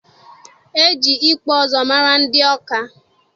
E ji ịkpụ ụzụ mara ndị Ọka.